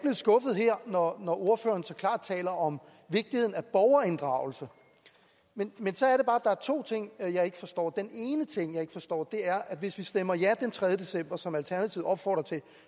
skuffet her når ordføreren så klart taler om vigtigheden af borgerinddragelse men så er er to ting jeg ikke forstår den ene ting jeg ikke forstår er at hvis vi stemmer ja den tredje december som alternativet opfordrer til